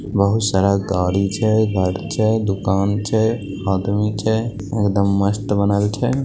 बहुत सारा गाड़ी छै गाड़ी छै दुकान छै आदमी छै एकदम मस्त बनल छै।